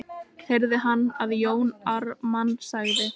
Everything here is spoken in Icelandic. heyrði hann að Jón Ármann sagði.